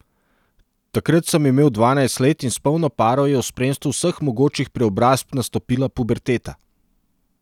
Takrat sem imel dvanajst let in s polno paro je v spremstvu vseh mogočih preobrazb nastopila puberteta.